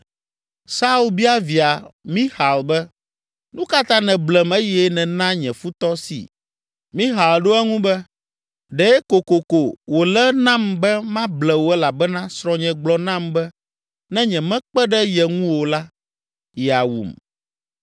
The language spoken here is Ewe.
Saul bia via Mixal be, “Nu ka ta nèblem eye nèna nye futɔ si?” Mixal ɖo eŋu be, “Ɖe kokoko wòle nam be mable wò elabena srɔ̃nye gblɔ nam be ne nyemekpe ɖe ye ŋu o la, yeawum.”